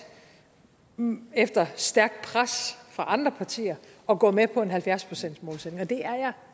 efter stærkt pres fra andre partier at gå med på en halvfjerds procentsmålsætning og det er jeg